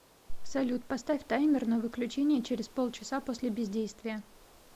салют поставь таймер на выключение через полчаса после бездействия